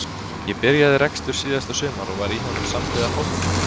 Ég byrjaði rekstur síðasta sumar og var í honum samhliða fótboltanum.